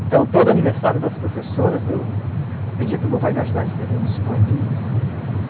Então, todo aniversário das professoras, eu pedia para o meu pai me ajudar a escrever uns poeminhas.